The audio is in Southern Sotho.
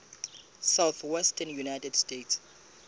southwestern united states